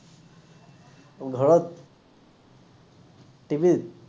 ঘৰত TV ত